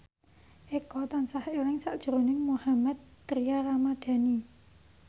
Eko tansah eling sakjroning Mohammad Tria Ramadhani